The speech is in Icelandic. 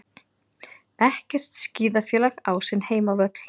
Ekkert skíðafélag á sinn heimavöll